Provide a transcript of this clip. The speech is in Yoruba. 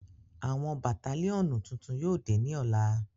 àwọn Batalionu tuntun yóò de ni ọla